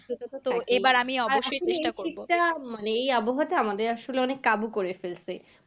এই আবহাওয়াটা আমাদের আসলে অনেক কাবু করে ফেলছে।